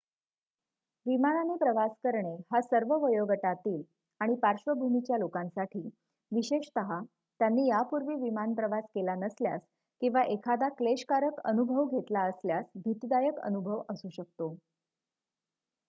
विमानाने प्रवास करणे हा सर्व वयोगटातील आणि पार्श्वभूमीच्या लोकांसाठी विशेषत त्यांनी यापूर्वी विमान प्रवास केला नसल्यास किंवा एखादा क्लेशकारक अनुभव घेतला असल्यास भीतीदायक अनुभव असू शकतो